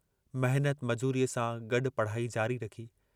मेहनत, मजूरीअ सां गड्डु पढ़ाई जारी रखी।